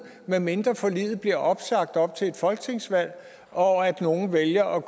medmindre forliget bliver opsagt op til et folketingsvalg og nogle vælger at